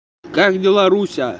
как дела руслан